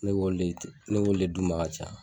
Ne b'olu ne b'olu le d'u ma ka caya